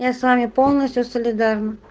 я с вами полностью солидарен